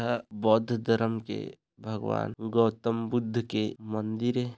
एहा बौद्ध धर्म के भगवान गौतम बद्ध के मंदिर ए।